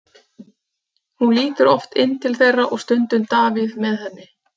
Hún lítur oft inn til þeirra og stundum Davíð með henni.